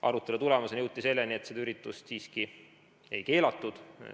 Arutelu tulemusena jõuti selleni, et seda üritust siiski ei keelatud.